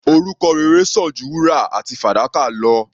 Orúkọ rere sàn ju wúrà àti fàdákà lọ.